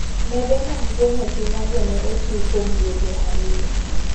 Nede mag geng'o suna go ne ochiw kuom dueche ariyo.